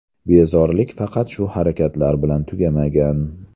Bezorilik faqat shu harakatlar bilan tugamagan.